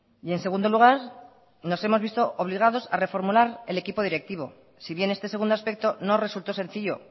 y en segundo lugar nos hemos visto obligados a reformular el equipo directivo si bien este segundo aspecto no resultó sencillo